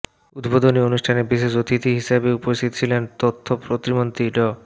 উদ্বোধনী অনুষ্ঠানে বিশেষ অতিথি হিসেবে উপস্থিত ছিলেন তথ্য প্রতিমন্ত্রী ড